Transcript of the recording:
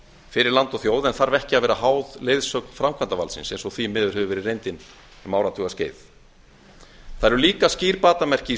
fyrir land og þjóð en þarf ekki að vera háð leiðsögn framkvæmdarvaldsins eins og því miður hefur verið reyndin um áratugaskeið það eru líka skýr batamerki í